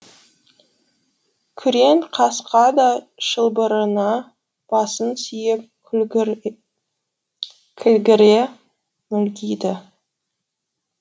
күрең қасқа да шылбырына басын сүйеп кілгіре мүлгиді